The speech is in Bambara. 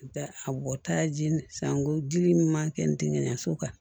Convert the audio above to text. A bɔta ji san ko dili min man kɛ n tɛgɛɲɛ so kan